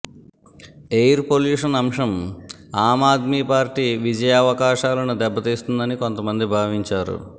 air pollution అంశం Aam Aadmi party విజయావకాశాలను దెబ్బతీస్తుందని కొంతమంది భావించారు